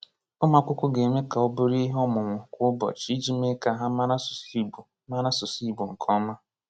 Ụmụakwụkwọ ga-eme ka ọ bụrụ ihe ọmụmụ kwa ụbọchị iji mee ka ha mara asụsụ Igbo mara asụsụ Igbo nke ọma.